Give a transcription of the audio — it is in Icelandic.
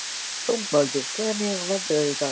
Dómaldur, hvernig er veðrið í dag?